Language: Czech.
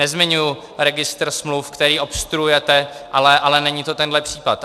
Nezmiňuji registr smluv, který obstruujete, ale není to tenhle případ.